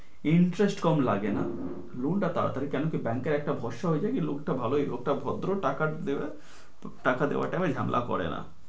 interest কম লাগে না loan টা তাড়াতাড়ি কেনো কি bank একটা ভরসা হয়ে যায়, যে লোকটা ভালোই লোকটা ভদ্র টাকা দেবে, টাকা দেওয়ার time এ ঝামেলা করে না।